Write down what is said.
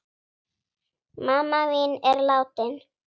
Mamma mín er látin.